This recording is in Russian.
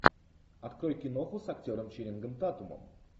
открой киноху с актером ченнингом татумом